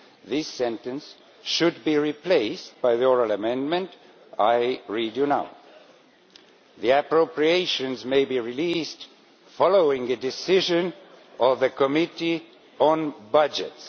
This sentence should be replaced by the oral amendment I will now read to you The appropriations may be released following a decision of the Committee on Budgets'.